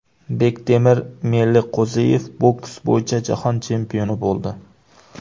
Bektemir Meliqo‘ziyev boks bo‘yicha jahon chempioni bo‘ldi.